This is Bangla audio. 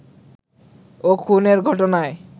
ও খুনের ঘটনায়